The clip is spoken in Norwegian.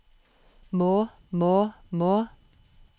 må må må